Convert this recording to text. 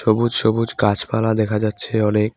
সবুজ সবুজ গাছপালা দেখা যাচ্ছে অনেক।